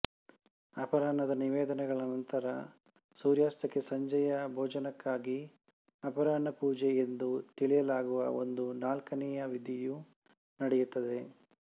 ಅಪರಾಹ್ನದ ನಿವೇದನೆಗಳ ನಂತರ ಸೂರ್ಯಾಸ್ತಕ್ಕೆ ಸಂಜೆಯ ಭೋಜನಕ್ಕಾಗಿ ಅಪರಾಹ್ನಪೂಜೆ ಎಂದು ತಿಳಿಯಲಾಗುವ ಒಂದು ನಾಲ್ಕನೇ ವಿಧಿಯು ನಡೆಯುತ್ತದೆ